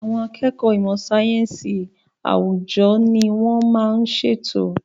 Àwọn akẹ́kọ̀ọ́ ìmọ̀ sáyẹ́sì àwùjọ ni wọ́n máa ń ṣètò.